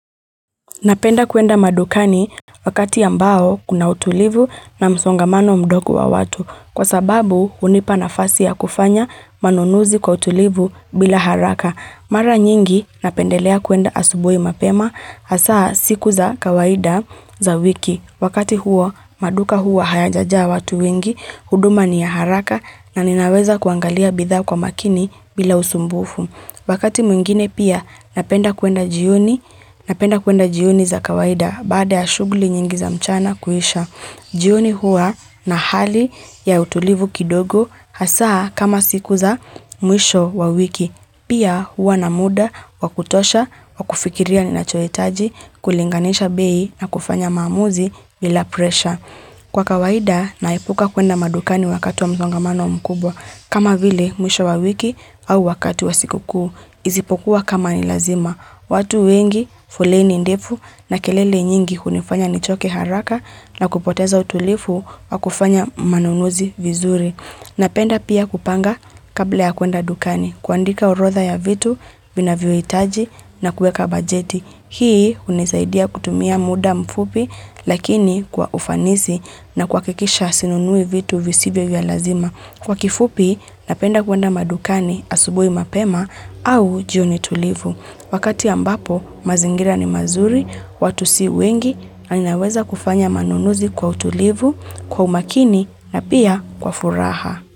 Napenda kuenda madukani wakati ambao kuna utulivu na msongamano mdoku wa watu kwa sababu unipa nafasi ya kufanya manunuzi kwa utulivu bila haraka. Mara nyingi napendelea kuenda asubui mapema hasaa siku za kawaida za wiki. Wakati huo maduka huwa hayajaja watu wengi, huduma ni ya haraka na ninaweza kuangalia bidha kwa makini bila usumbufu. Wakati mwingine pia napenda kuenda jioni za kawaida baada ya shuguli nyingi za mchana kuhisha. Jioni huwa na hali ya utulivu kidogo hasaa kama siku za mwisho wa wiki. Pia huwa na muda wakutosha wa kufikiria ninachoetaji kulinganisha bei na kufanya maamuzi bila presha. Kwa kawaida naepuka kuenda madukani wakatu wa mzungamano mkubwa kama vile mwisho wa wiki au wakati wa siku kuu. Izipokuwa kama ni lazima. Watu wengi foleni ndifu na kelele nyingi hunifanya nichoke haraka na kupoteza utulifu wa kufanya manunuzi vizuri. Napenda pia kupanga kabla ya kuenda dukani kuandika urodha ya vitu, vinaviyoitaji na kuweka bajeti. Hii unizaidia kutumia muda mfupi lakini kwa ufanizi na kuhakikisha sinunui vitu visivyo vya lazima. Kwa kifupi napenda kuenda madukani asubui mapema au jioni tulivu. Wakati ambapo, mazingira ni mazuri, watu si wengi, na ninaweza kufanya manunuzi kwa utulivu, kwa umakini na pia kwa furaha.